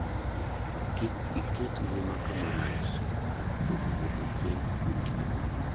Kik iket ngima kama rach kar kuom wuotho kendi gotieno.